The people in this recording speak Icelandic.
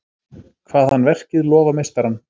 Kvað hann verkið lofa meistarann.